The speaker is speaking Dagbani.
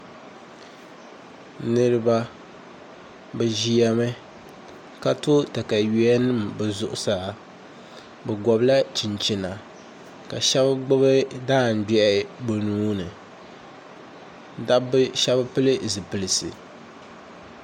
niriba bɛ ʒiya mi ka tɔ takayuyanima bɛ zuɣusaa bɛ gɔbila chinchina ka shɛba gbubi daangbɛhi bɛ nuhi ni dabba shɛba pili zupilisi